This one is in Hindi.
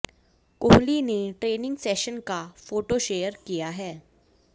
कोहली ने ट्रेनिंग सेशन का फोटो शेयर किया है